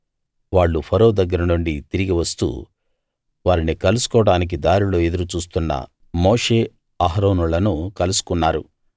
వాళ్ళు ఫరో దగ్గర నుండి తిరిగి వస్తూ వారిని కలుసుకోవడానికి దారిలో ఎదురు చూస్తున్న మోషే అహరోనులను కలుసుకున్నారు